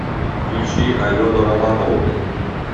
включи алену романову